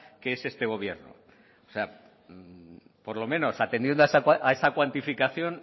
que es este gobierno o sea por lo menos atendiendo a esa cuantificación